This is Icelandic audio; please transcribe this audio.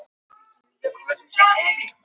Það var hún sem fyllti bílinn af smygli en ekki ég.